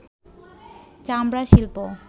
চামড়া শিল্প